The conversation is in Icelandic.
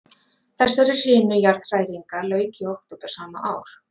Þessari hrinu jarðhræringa lauk í október sama ár.